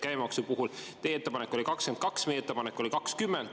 Käibemaksu puhul teie ettepanek oli 22%, meie ettepanek oli 20%.